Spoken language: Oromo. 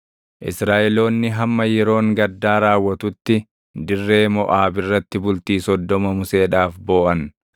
Israaʼeloonni hamma yeroon gaddaa raawwatutti dirree Moʼaab irratti bultii soddoma Museedhaaf booʼan.